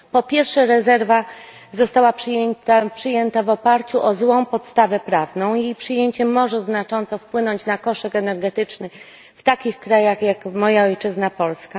Po pierwsze, rezerwa została przyjęta w oparciu o złą podstawę prawną i jej przyjęcie może znacząco wpłynąć na koszyk energetyczny w takich krajach jak moja ojczyzna Polska.